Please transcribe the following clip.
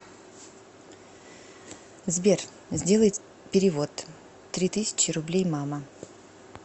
сбер сделай перевод три тысячи рублей мама